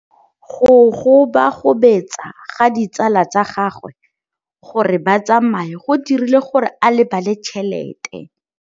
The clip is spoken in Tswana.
Go gobagobetsa ga ditsala tsa gagwe, gore ba tsamaye go dirile gore a lebale tšhelete.